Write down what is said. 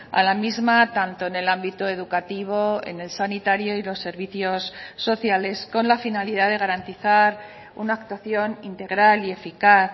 a la misma tanto en el ámbito educativo en el sanitario y los servicios sociales con la finalidad de garantizar una actuación integral y eficaz